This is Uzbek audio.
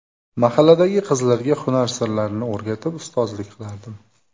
Mahalladagi qizlarga hunar sirlarini o‘rgatib, ustozlik qilardim.